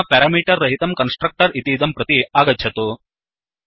अधुना पेरमीटर् रहितं कन्स्ट्रक्टर् इतीदं प्रति आगच्छतु